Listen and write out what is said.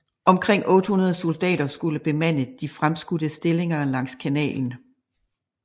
Omkring 800 soldater skulle bemande de fremskudte stillinger langs kanalen